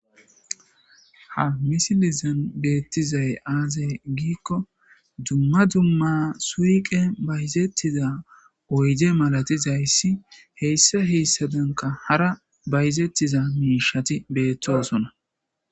ha misilizan beettizay aaze giikko dumma dumma suqey bayizettiza oyde malatizayssi heyssa heyssabenka hara bayizettiza miishati beettosona